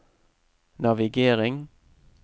navigering